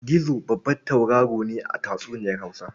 Gizo babban tauraro ne a tatsuniyar Hausa.